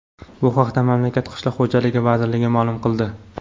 Bu haqda mamlakat qishloq xo‘jaligi vazirligi ma’lum qildi .